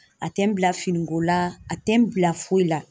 A tɛ n bila finiko la a tɛ n bila foyi la.